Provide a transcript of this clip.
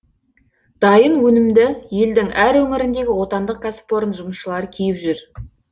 дайын өнімді елдің әр өңіріндегі отандық кәсіпорын жұмысшылары киіп жүр